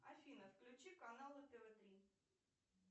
афина включи каналы тв три